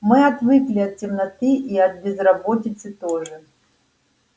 мы отвыкли от темноты и от безработицы тоже